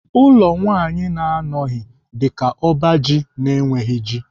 Ụlọ nwaanyị na-adịghị dịka ọba ji na-enweghị ji.